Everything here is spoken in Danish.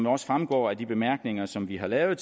også fremgår af de bemærkninger som vi har lavet